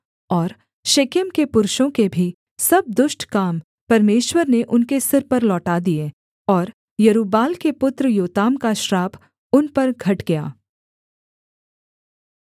और शेकेम के पुरुषों के भी सब दुष्ट काम परमेश्वर ने उनके सिर पर लौटा दिए और यरूब्बाल के पुत्र योताम का श्राप उन पर घट गया